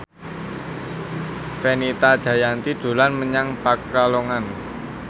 Fenita Jayanti dolan menyang Pekalongan